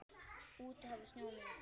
Úti hafði snjóað meira.